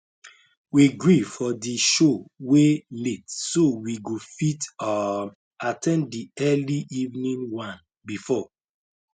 we gree for the show wey late so we go fit um at ten d the early evening one before